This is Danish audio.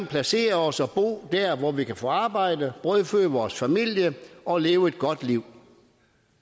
placere os og bo der hvor vi kan få arbejde brødføde vores familie og leve et godt liv